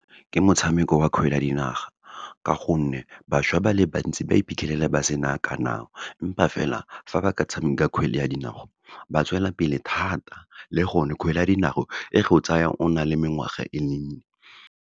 Ke motshameko wa kgwele ya dinaga, ka gonne bašwa ba le bantsi ba iphitlhelela ba sena , empa fela, fa ba ka tshameka kgwele ya dinao, ba tswelelapele thata, le gone kgwele ya dinao, e go tsaya o na le mengwaga e mennye.